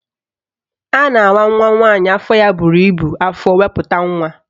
A na-awa nwaanyị nwa ya buru ibu afọ wee kupute nwa